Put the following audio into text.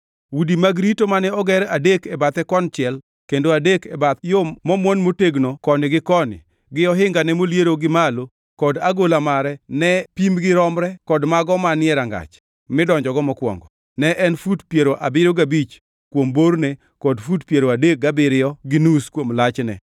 Udi mag rito mane oger adek e bathe konchiel kendo adek e bath yo momwon motegno koni gi koni, gi ohingage moliero gi malo kod agola mare ne pimgi romre kod mago manie rangach midonjogo mokwongo. Ne en fut piero abiriyo gabich kuom borne kod fut piero adek gabiriyo gi nus kuom lachne.